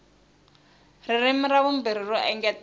ririmi ra vumbirhi ro engetela